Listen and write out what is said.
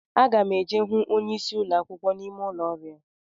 Aga m eje hụ onyeisi ụlọ akwụkwọ n'ime ụlọ ọrụ ya